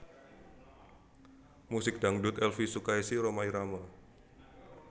Musik Dangdut Elvie Sukaesih Rhoma Irama